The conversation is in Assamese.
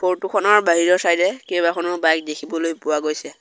ফটো খনৰ বাহিৰৰ চাইড এ কেইবাখনো বাইক দেখিবলৈ পোৱা গৈছে।